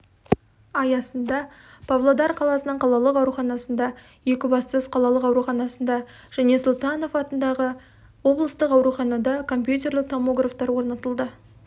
аясында павлодар қаласының қалалық ауруханасында екібастұз қалалық ауруханасында және сұлтанов атындағы облыстық ауруханада компьютерлік томографтар орнатылды